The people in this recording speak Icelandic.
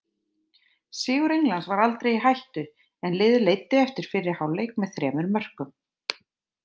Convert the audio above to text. Sigur Englands var aldrei í hættu en liðið leiddi eftir fyrri hálfleik með þremur mörkum.